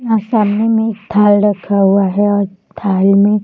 यहाँ सामने में एक थाल रखा हुआ है और थाल में --